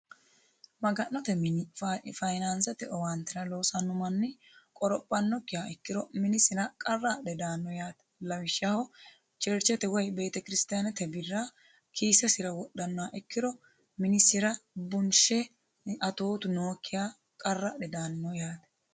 Maganote mini fayinaasete owaatete loosanno manni qorophanokiha ikkiro minisira qarra adhe daano yaatee lawishaho cherchete woyi beetikirstaanete birra kiisesira wodhanoha ikkiro minisira bunshe atootu nookiha qarra adhe daani no yaate